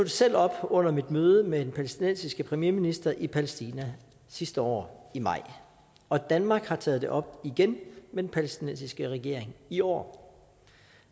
selv op under mit møde med den palæstinensiske premierminister i palæstina sidste år i maj og danmark har taget det op igen med den palæstinensiske regering i år